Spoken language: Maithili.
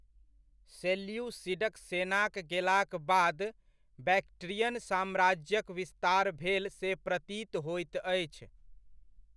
सेल्यूसिडक सेनाक गेलाक बाद, बैक्ट्रियन साम्राज्यक विस्तार भेल से प्रतीत होइत अछि।